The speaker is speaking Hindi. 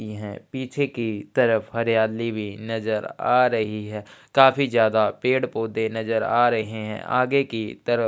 की हैं पीछे की तरफ हरियाली भी नज़र आ रही है काफी ज्यादा पेड़ पौधे नज़र आ रहे है आगे की तरफ --